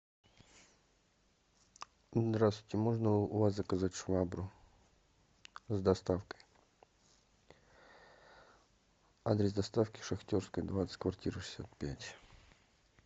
здравствуйте можно у вас заказать швабру с доставкой адрес доставки шахтерская двадцать квартира шестьдесят пять